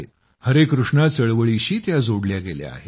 हरे कृष्णा चळवळीशी त्या जोडल्या गेल्या आहेत